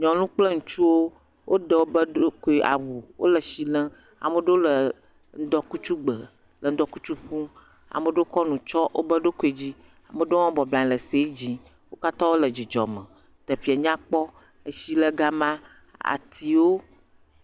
Nyɔnu kple ŋutsuwo woɖe wo ɖokui awu, wole etsi lem, ame aɖewo le ŋdɔkutsu gbe le ŋdɔkutsɔ ƒum, ame aɖewo kɔ nu tsyɔ̃ wobe ɖokuiwo dzi, ame aɖewo bɔbɔnɔ anyi le ese dzi wo katrã wole dzidzɔ me teƒea nyakpɔ, etsi le gama, atiwo.